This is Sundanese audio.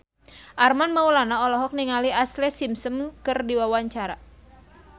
Armand Maulana olohok ningali Ashlee Simpson keur diwawancara